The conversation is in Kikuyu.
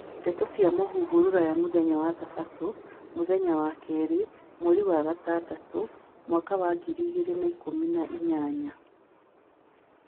Ndeto cia mūhuhu Rũraya muthenya wa Thabatũ, mũthenya wa kerĩ, mweri wa gatandatũ, mwaka wa ngiri igĩrĩ na ikũmi na inyanya